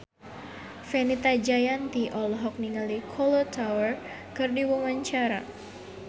Fenita Jayanti olohok ningali Kolo Taure keur diwawancara